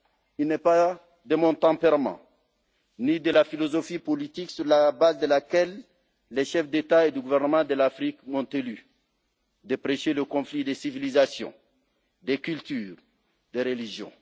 II n'est pas de mon tempérament, ni de la philosophie politique sur la base de laquelle les chefs d'État ou de gouvernement de l'Afrique m'ont élu, de prêcher le conflit des civilisations, des cultures, des religions.